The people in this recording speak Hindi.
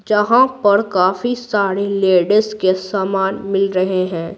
जहाँ पर काफी सारी लेडीज़ के सामान मिल रहे हैं।